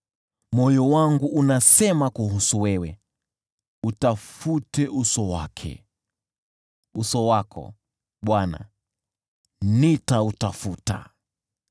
Moyo wangu unasema kuhusu wewe, “Utafute uso wake!” Uso wako, Bwana “Nitautafuta.”